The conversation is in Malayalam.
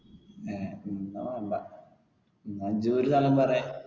എന്ന വേണ്ട എന്ന ഇജ്ജ് ഒരു സ്ഥലം പറെ